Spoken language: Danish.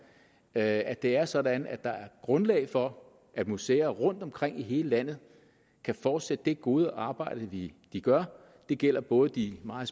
at det er sådan at der er grundlag for at museer rundtomkring i hele landet kan fortsætte det gode arbejde de gør det gælder både de meget